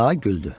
Ka güldü.